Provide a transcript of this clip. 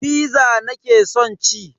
Fiza nake son ci.